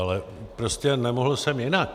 Ale prostě nemohl jsem jinak.